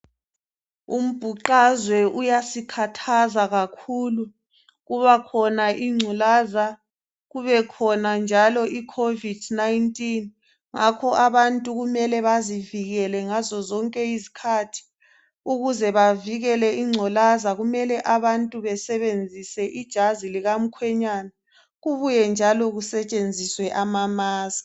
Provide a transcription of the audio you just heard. Umbhuqazwe uyasikhathaza kakhulu. Kubakhona ingculaza. Kube khona njalo icovid 19. Ngakho abantu kumele bazivikele ngazo zonke izikhathi. Ukuze bavikele ingculaza kumele abantu besebenzise ijazi likamkhwenyana. Kubuye njalo kusetshenziswe ama-masks.